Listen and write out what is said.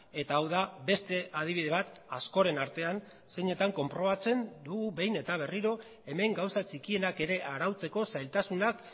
eta hau da beste adibide bat askoren artean zeinetan konprobatzen dugu behin eta berriro hemen gauza txikienak ere arautzeko zailtasunak